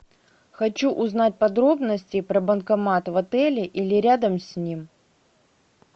хочу узнать подробности про банкомат в отеле или рядом с ним